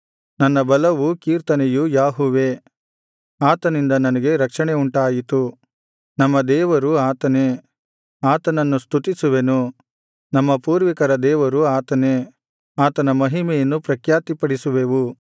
ನನ್ನ ಬಲವೂ ಕೀರ್ತನೆಯೂ ಯಾಹುವೇ ಆತನಿಂದ ನನಗೆ ರಕ್ಷಣೆ ಉಂಟಾಯಿತು ನಮ್ಮ ದೇವರು ಆತನೇ ಆತನನ್ನು ಸ್ತುತಿಸುವೆನು ನಮ್ಮ ಪೂರ್ವಿಕರ ದೇವರು ಆತನೇ ಆತನ ಮಹಿಮೆಯನ್ನು ಪ್ರಖ್ಯಾತಿಪಡಿಸುವೆವು